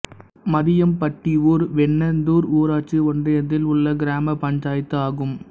மதியம்பட்டிஊர் வெண்ணந்தூர் ஊராட்சி ஒன்றியத்தில் உள்ள கிராம பஞ்சாயத்து ஆகும்